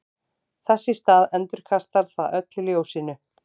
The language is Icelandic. þess í stað endurkastar það öllu ljósinu